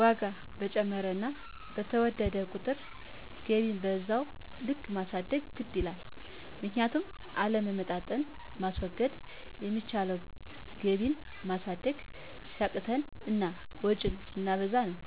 ዋጋ በጨመረና በተወደደ ቁጥር ገቢን በዛው ልክ ማሳደግ ግድ ይላል። ምክንያቱም አለመመጣጠን ማስወገድ ሚቻለው ገቢን ማሳደግ ሲያቅተን እና ወጭን ስናበዛ ነው።